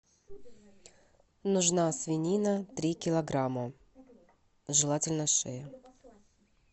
нужна свинина три килограмма желательно шея